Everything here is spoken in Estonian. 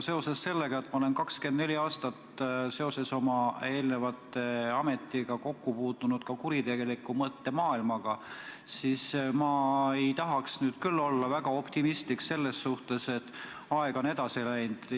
Seoses sellega, et olen 24 aastat oma eelneva ameti tõttu kokku puutunud ka kuritegeliku mõttemaailmaga, ei tahaks ma nüüd küll olla väga optimistlik selles suhtes, et aeg on edasi läinud.